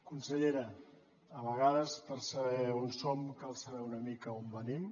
consellera a vegades per saber on som cal saber una mica d’on venim